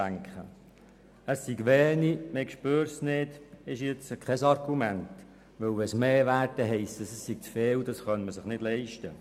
Denn wenn es mehr wäre, würde man sagen, sei zu viel und man könne sich das nicht leisten.